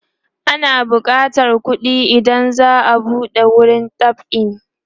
ana bukatan kuɗi idan za'a buɗe wurin dab'i